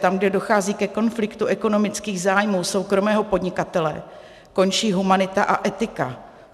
Tam, kde dochází ke konfliktu ekonomických zájmů soukromého podnikatele, končí humanita a etika.